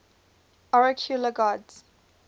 oracular gods